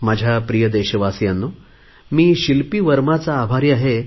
माझ्या प्रिय देशवासीयांनो मी शिल्पी वर्माचा आभारी आहे